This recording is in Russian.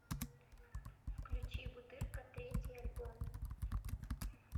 включи бутырка третий альбом